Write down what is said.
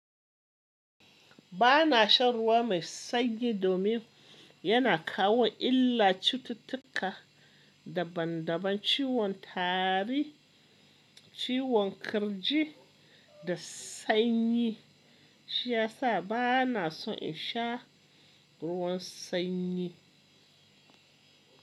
Ba na shan ruwa mai sanyi domin yana kawo illa, cututtuka daban-daban, ciwon tari, ciwon kirji da sanyi. Shi ya sa ba na son in sha ruwan sanyi.